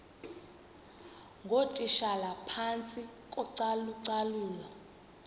ngootitshala phantsi kocalucalulo